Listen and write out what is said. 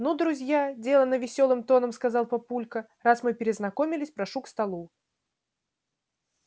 ну друзья делано весёлым тоном сказал папулька раз мы перезнакомились прошу к столу